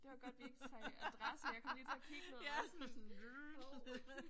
Det var godt vi ikke sagde adresse jeg kom lige til at kigge ned og var sådan hov